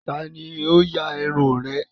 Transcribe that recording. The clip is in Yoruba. Ta ni ó ya irun rẹ̀?